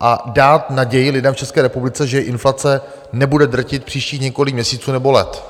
a dát naději lidem v České republice, že inflace nebude drtit příštích několik měsíců nebo let.